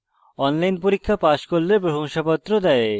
online পরীক্ষা pass করলে প্রশংসাপত্র দেওয়া হয়